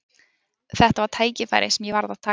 Þetta var tækifæri sem ég varð að taka.